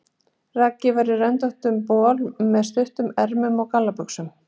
Raggi er í röndóttum bol með stuttum ermum og gallabuxum.